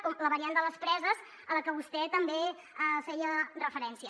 com la variant de les preses a la que vostè també feia referència